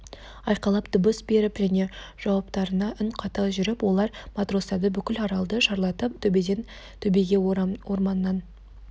айқайлап дыбыс беріп және жауаптарына үн қата жүріп олар матростарды бүкіл аралды шарлатып төбеден төбеге орманнан